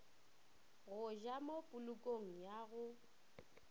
go ja mopolokong ya go